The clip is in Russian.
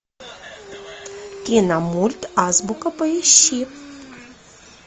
киномульт азбука поищи